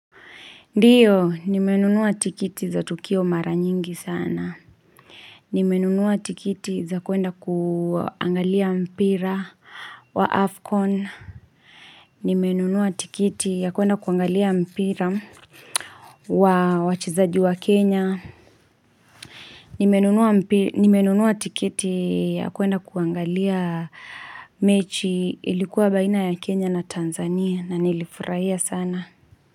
Ndiyo, nimenunua tikiti za tukio mara nyingi sana. Nimenunua tikiti za kuenda kuangalia mpira wa Afcon. Nimenunua tikiti ya kuenda kuangalia mpira wa wachezaji wa Kenya. Nimenunua tikiti ya kuenda kuangalia mechi ilikuwa baina ya Kenya na Tanzania na nilifurahia sana.